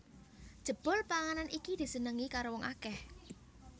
Jebul panganan iki disenengi karo wong akèh